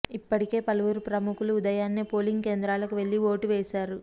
ఇప్పటికే పలువురు ప్రముఖులు ఉదయాన్నే పోలింగ్ కేంద్రాలకు వెళ్లి ఓటు వేశారు